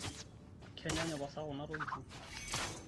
kenyaanyuk pasa kuna tokitin?